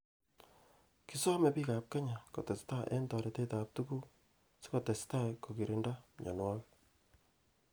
Kisomei bik ab Kenya kotestai eng toretet ab tukuk sikotestai kokirinda myonwokik.